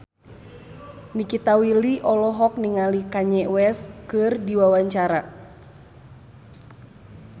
Nikita Willy olohok ningali Kanye West keur diwawancara